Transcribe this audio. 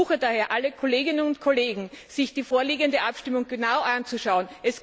Ich ersuche daher alle Kolleginnen und Kollegen, sich die vorliegende Abstimmung genau anzuschauen.